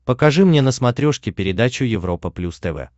покажи мне на смотрешке передачу европа плюс тв